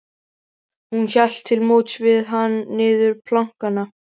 Hún hélt til móts við hann niður plankana.